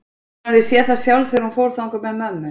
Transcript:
Hún hafði séð það sjálf þegar hún fór þangað með mömmu.